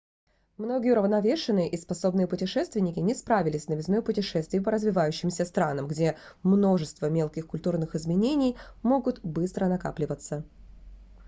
многие уравновешенные и способные путешественники не справились с новизной путешествий по развивающимся странам где множество мелких культурных изменений могут быстро накапливаться